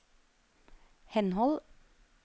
henhold